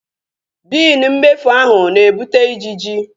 Biini mmefu ahu na-ebute ijiji